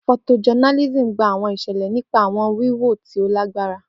Photojournalism gba awọn iṣẹlẹ nipasẹ awọn wiwo ti o lagbara.